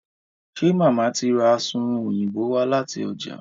ṣe Mama tí rá Asunrun Òyìnbó wá láti ọjà?